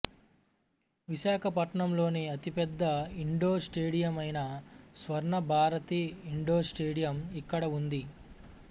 విశాఖపట్నంలోని అతిపెద్ద ఇండోర్ స్టేడియమైన స్వర్ణ భారతి ఇండోర్ స్టేడియం ఇక్కడ ఉంది